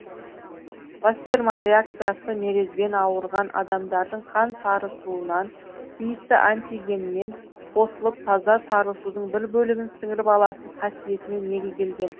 вассерман реакциясы мерезбен ауырған адамдардың қан сарысуынан тиісті антигенмен қосылып таза сарысудың бір бөлігін сіңіріп алатын қасиетіне негізделген